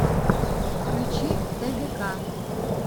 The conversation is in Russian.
включи тгк